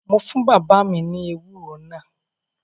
Mo fún bàbá mi ní ewúro náà